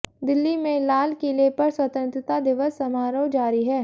दिल्ली में लाल किले पर स्वतंत्रता दिवस समारोह जारी है